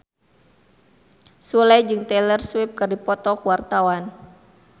Sule jeung Taylor Swift keur dipoto ku wartawan